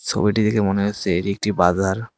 ছবিটি দেখে মনে হচ্ছে এটি একটি বাজার।